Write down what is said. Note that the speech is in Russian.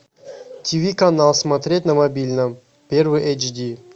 ти ви канал смотреть на мобильном первый эйч ди